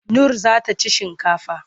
Nur za ta ci shinkafa.